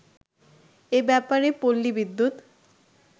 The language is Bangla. এব্যাপারে পল্লী বিদ্যুৎ